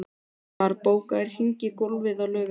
Hilmar, bókaðu hring í golf á laugardaginn.